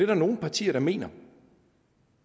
der nogle partier der mener